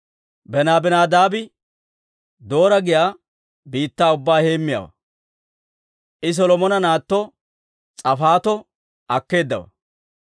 Benabinadaabi Doora giyaa biittaa ubbaa heemmiyaawaa; I Solomona naatto S'aafatto akkeeddawaa.